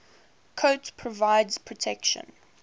coat provides protection